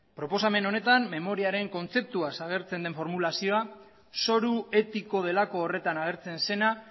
proposamen honetan memoriaren kontzeptua agertzen den formulazioa zoru etiko delako horretan agertzen zena